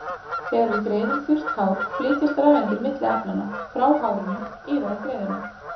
Þegar við greiðum þurrt hár flytjast rafeindir milli efnanna, frá hárinu yfir á greiðuna.